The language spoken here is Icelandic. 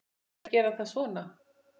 Má líka gera það svona